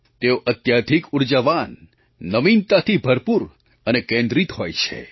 તેઓ અત્યાધિક ઊર્જાવાન નવીનતાથી ભરપૂર અને કેન્દ્રિત હોય છે